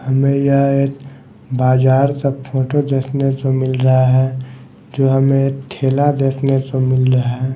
हमें यह एक बाजार का फोटो देखने को मिल रहा हैं जो हमें ठेला देखने को मिल रहा हैं।